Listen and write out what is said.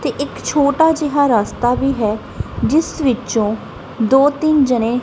ਤੇ ਇੱਕ ਛੋਟਾ ਜਿਹਾ ਰਾਸਤਾ ਵੀ ਹੈ ਜਿਸ ਵਿੱਚੋਂ ਦੋ ਤਿੰਨ ਜਣੇ --